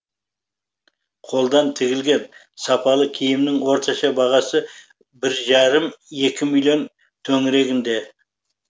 қолдан тігілген сапалы киімнің орташа бағасы бір жарым екі миллион төңірегінде